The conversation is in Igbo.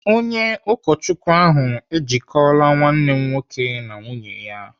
Onye ụkọchukwu ahụ ejikọla nwanne m nwoke na nwunye ya.